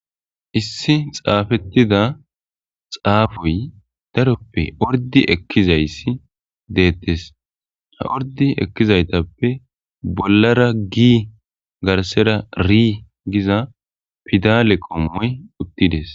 Issi xaafettidd xaafoyi daroppe orddi ekkizayiss detees.haa orddi ekizayitappe bollara g garissera r Giza pidale qommoyi uttides.